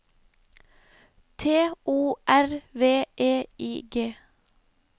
T O R V E I G